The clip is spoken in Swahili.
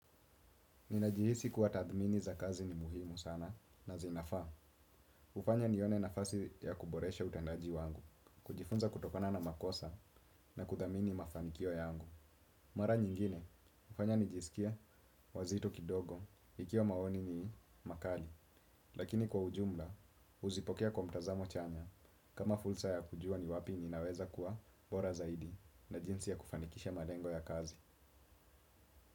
Ninajihisi kuwa tathmini za kazi ni muhimu sana na zinafaa. Hufanya nione nafasi ya kuboresha utendaji wangu, kujifunza kutokana na makosa na kuthamini mafanikio yangu. Mara nyingine, hufanya nijisikie wazito kidogo, ikiwa maoni ni makali. Lakini kwa ujumla, huzipokea kwa mtazamo chanya. Kama fulsa ya kujua ni wapi ninaweza kuwa bora zaidi na jinsi ya kufanikisha malengo ya kazi.